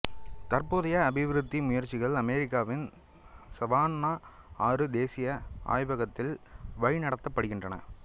தற்போதைய அபிவிருத்தி முயற்சிகள் அமெரிக்காவின் சவான்னா ஆறு தேசிய ஆய்வகத்தால் வழிநடத்தப்படுகின்றன